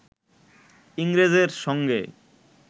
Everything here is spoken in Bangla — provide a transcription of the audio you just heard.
ইংরেজের সঙ্গে